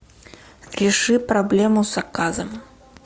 реши проблему с заказом